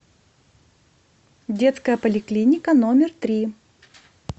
детская поликлиника номер три